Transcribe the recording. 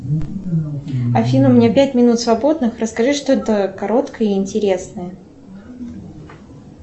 афина у меня пять минут свободных расскажи что то короткое и интересное